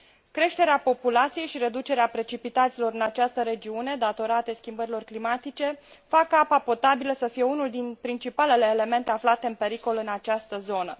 Creșterea populației și reducerea precipitațiilor în această regiune, datorate schimbărilor climatice, fac ca apa potabilă să fie unul din principalele elemente aflate în pericol în această zonă.